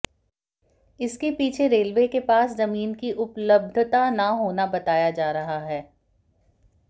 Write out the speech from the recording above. इसके पीछे रेलवे के पास जमीन की उपलब्धता न होना बताया जा रहा है